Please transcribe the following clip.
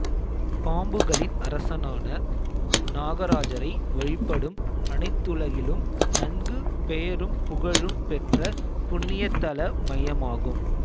பாம்புக்களின் அரசனான நாகராஜரை வழிபடும் அனைத்துலகிலும் நன்கு பெயரும் புகழும் பெற்ற புண்ணியத்தல மையமாகும்